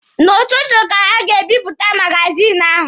N'ụtụtụ ka ha ga-ebipụta magazini ahụ.